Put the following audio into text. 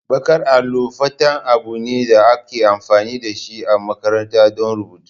Baƙar allo fata abu ne da ake amfani da shi a makarantu don rubutu.